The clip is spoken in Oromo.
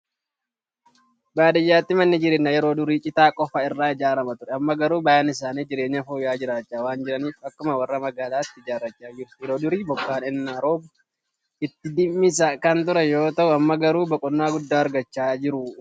Baadiyyaatti manni jireenyaa yeroo durii Citaa qofa irraa ijaaramaa ture. Amma garuu baay'een isaanii jireenya fooyya'aa jiraachaa waan jiraniif akkuma warra magaalaatti ijaarrachaa jiru. Yeroo durii bokkaan ennaa roobe itti dhimmisaa kan ture yeroo ta'u amma garuu boqonnaa guddaa argachaa jiru.